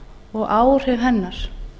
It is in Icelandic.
og áhrif hennar